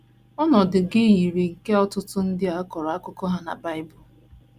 Ọnọdụ gị yiri nke ọtụtụ ndị a kọrọ akụkọ ha na Bible.